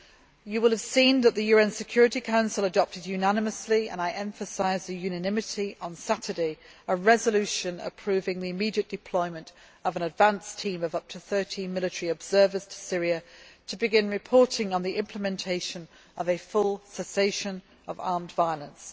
The House will have seen that the UN Security Council adopted unanimously and I emphasise that unanimity on Saturday a resolution approving the immediate deployment of an advance team of up to 30 military observers to Syria to begin reporting on the implementation of a full cessation of armed violence.